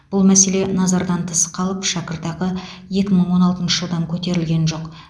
бұл мәселе назардан тыс қалып шәкіртақы екі мың он алтыншы жылдан көтерілген жоқ